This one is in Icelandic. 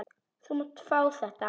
Þú mátt fá þetta.